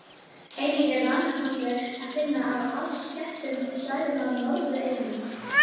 Einnig er ranakollur að finna á afskekktum svæðum á Norðureyju.